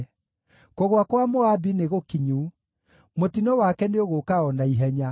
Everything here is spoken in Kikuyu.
“Kũgũa kwa Moabi nĩgũkinyu; mũtino wake nĩũgũũka o na ihenya.